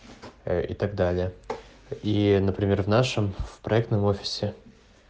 и так далее и например в нашем в проектном офисе